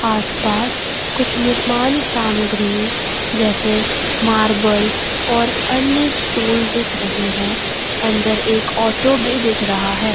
आस पास कुछ निर्माण सामग्रीय जैसे मार्बल और अन्य स्टूल दिख रहे हैं अंदर एक ऑटो भी दिख रहा है।